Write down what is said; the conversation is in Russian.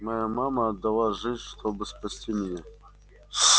моя мама отдала жизнь чтобы спасти меня